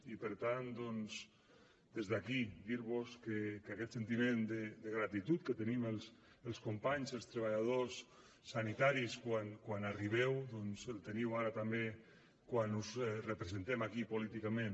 i per tant doncs des d’aquí dir vos que aquest sentiment de gratitud que tenim els companys els treballadors sanitaris quan arribeu doncs el teniu ara també quan us representem aquí políticament